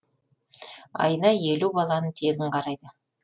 айына елу баланы тегін қарайды